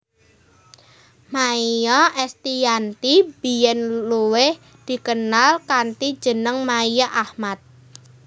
Maia Estiyanti biyén luwih dikenal kanthi jeneng Maia Ahmad